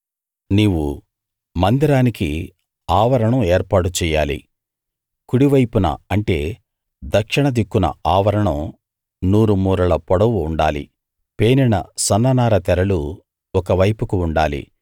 నీవు మందిరానికి ఆవరణం ఏర్పాటు చెయ్యాలి కుడివైపున అంటే దక్షిణ దిక్కున ఆవరణం నూరు మూరల పొడవు ఉండాలి పేనిన సన్న నార తెరలు ఒక వైపుకు ఉండాలి